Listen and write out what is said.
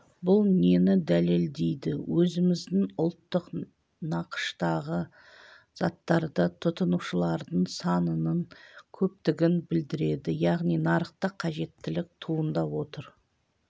бұл нені дәлелдейді өзіміздің ұлттық нақыштағы заттарды тұтынушылардың санының көптігін білдереді яғни нарықта қажеттілік туындап отыр